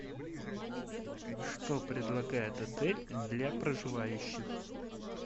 что предлагает отель для проживающих